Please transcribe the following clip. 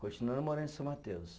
Continuando morando em São Mateus.